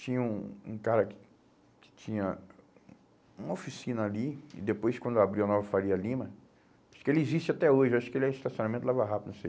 Tinha um um cara que que tinha uma oficina ali, e depois quando abriu a nova Faria Lima, acho que ele existe até hoje, acho que ele é estacionamento de lavar rápido, não sei.